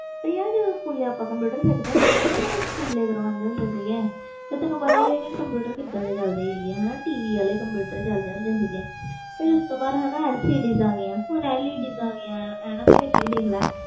ਪ੍ਰਿਆ ਜਦੋ ਆਪਾ school computer ਸਿੱਖ ਦੇ ਹੁੰਦੇ ਸੀ ਤੇ ਤੈਨੂੰ ਪਤਾ ਕੰਪਿਊਟਰ ਕੀਦਾ ਦੇ ਚਲ ਦੇ ਹੁੰਦੇ ਸੀ tv ਵਾਲੇ ਕੰਪਿਊਟਰ ਚਲ ਦੇ ਹੁੰਦੇ ਸੀ ਫਿਰ ਉਸ ਤੋ ਬਾਅਦ lcds ਆ ਗਈਆਂ ਹੁਣ led ਆ ਗਈਆਂ